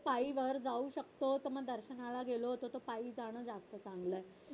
पायी वर जाऊ शकतो तस दर्शनाला गेलो तर मग पायी जावं लागत चांगलं